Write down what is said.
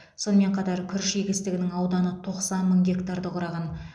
сонымен қатар күріш егістігінің ауданы тоқсан мың гектарды құраған